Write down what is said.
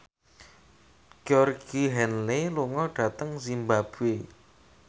Georgie Henley lunga dhateng zimbabwe